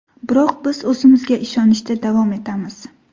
Biroq biz o‘zimizga ishonishda davom etamiz.